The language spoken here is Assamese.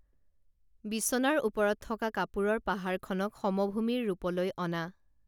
বিচনাৰ ওপৰত থকা কাপোৰৰ পাহাৰখনক সমভূমিৰ ৰূপলৈ অনা